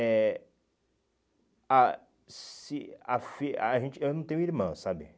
É... A... se a fi a gente Eu não tenho irmã, sabe?